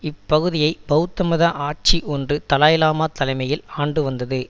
இப்பகுதியை பெளத்த மத ஆட்சி ஒன்று தலாய் லாமா தலைமையில் ஆண்டு வந்தது